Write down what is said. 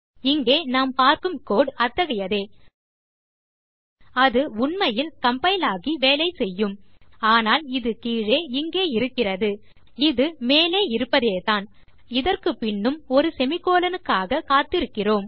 இங்கே நாம் பார்க்கும் கோடு அத்தகையதே அது உண்மையில் கம்பைல் ஆகி வேலை செய்யும் ஆனால் இது கீழே இங்கே இருக்கிறது இது மேலே இருப்பதேதான் நாம் இதற்குப்பின்னும் ஒரு செமிகோலன் க்காக காத்திருக்கிறோம்